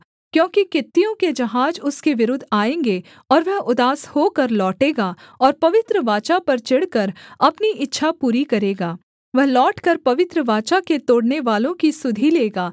क्योंकि कित्तियों के जहाज उसके विरुद्ध आएँगे और वह उदास होकर लौटेगा और पवित्र वाचा पर चिढ़कर अपनी इच्छा पूरी करेगा वह लौटकर पवित्र वाचा के तोड़नेवालों की सुधि लेगा